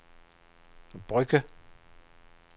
Brugge